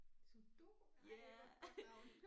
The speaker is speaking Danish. Sudoku ej hvor et godt navn